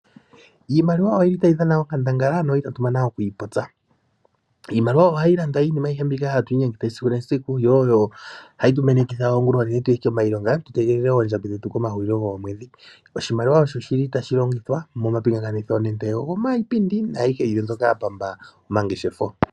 Iimaliwa oyi li ta yi dhana onkandangala no itatu mana oku yi popya. Iimaliwa oha yi landa iinima mbyoka tu li ha tu inyengitha esikunesiku yo oyo ha yi tu menekitha oongula oonene, tu ye komailonga tu mone oondjambi dhetu kehulio lyomwedhi. Oshimaliwa osho shi li ta shi longithwa momapingakanitho nande ogo paipindi nayihe mbyoka ya pamba omangeshefo.